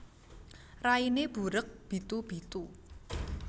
Rainé burék bithu bithu